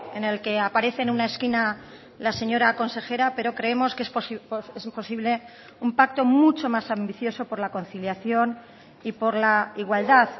en el que aparece en una esquina la señora consejera pero creemos que es posible un pacto mucho más ambicioso por la conciliación y por la igualdad